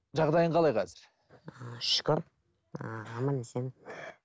жағдайың қалай қазір ііі шүкір ііі аман есен